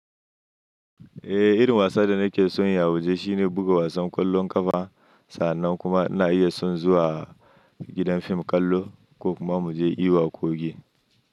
Eh, irin wasa da nake son yin yawuje shine buga wasan kwallon ƙafa. Sannan kuma ina iya son zuwa gidan fim ƙwallo ko kuma mu je yi waƙoƙi.